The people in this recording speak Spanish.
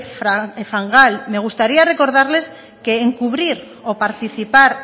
fangal me gustaría recordarles que encubrir o participar